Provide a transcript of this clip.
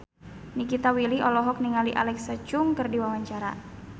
Nikita Willy olohok ningali Alexa Chung keur diwawancara